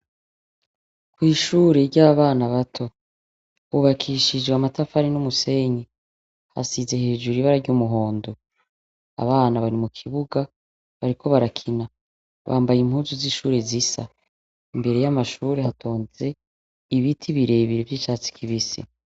N'ishure ry'abana bato. Hubakishije amatafari n'umusenyi hasize hejuru ibara ry'umuhondo, abana bari mu kibuga bariko barakina bambaye impuzu z'ishure zisa. Imbere y'amashure hatonze ibiti birebire vy'icatsi kibisi.